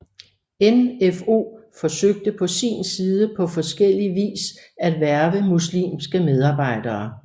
NfO forsøgte på sin side på forskellie vis at hverve muslimske medarbejdere